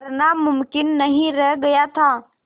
करना मुमकिन नहीं रह गया था